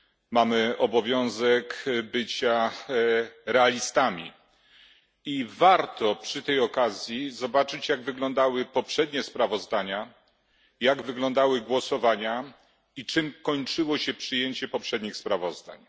Mamy obowiązek bycia realistami i warto przy tej okazji zobaczyć, jak wyglądały poprzednie sprawozdania, jak wyglądały głosowania i czym kończyło się przyjęcie poprzednich sprawozdań.